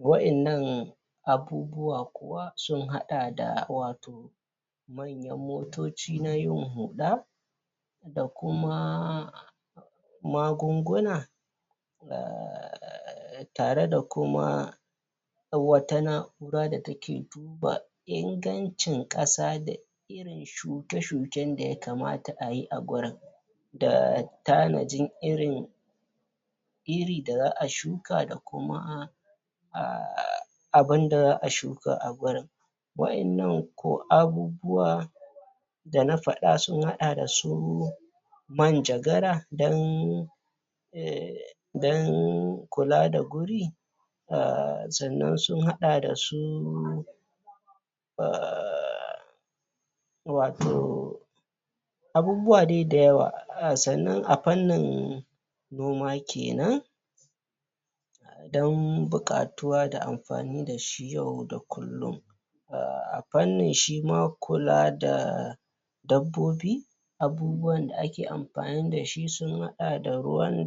wa'innan abubuwa sun haɗa da watau manyan motoci na yin huɗa da kuma magunguna? tare da kuma wata na'ura da take duba ingancin ƙasa da shuke-shuken da ya kamata ayi a gurin da tanajin irin iri da za a shuka da kuma um abunda za a shuka a gurin wa'innan ko abubuwa da na faɗa sun haɗa da su manjagara don um don kula da guri um sannan sun haɗa da su um watau abubuwa dai dayawa. Sannan a fannin noma kenan don buƙatuwa da amfani da shi yau da kullum um a fannin shima kula da dabbobi abubuwan da ake amfani da shi sun haɗa da ruwan